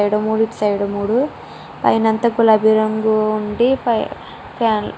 అటు సైడ్ మూడు ఇటుసైడ్ మూడు పైనంత గులాబీ రంగు వుంఢి ఫ్యా --